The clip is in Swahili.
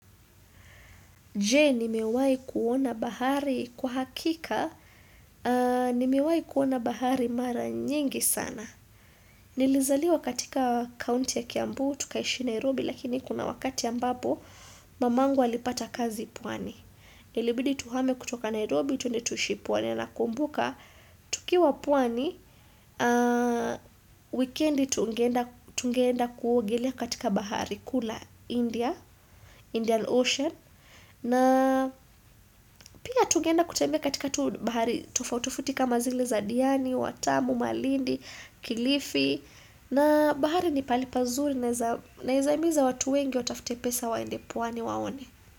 Je, ni mewai kuona bahari? Kwa hakika, ni mewai kuona bahari mara nyingi sana. Nilizaliwa katika county ya Kiambu, tukaishi Nairobi, lakini kuna wakati ambapo, mamangu alipata kazi pwani. Ilibidi tuhame kutoka Nairobi, tuende tuishi pwani, nakumbuka, tukiwa pwani, weekendi tungeenda tungeenda kuogelea katika bahari, kuu la India, Indian Ocean. Na pia tugeenda kutembea katika tufaut ofuti kama zile za diani, watamu, malindi, kilifi na bahari ni pahali pazuri naeza naeza himiza watu wengi watafute pesa waende pwani waone.